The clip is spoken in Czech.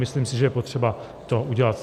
Myslím si, že je potřeba to udělat.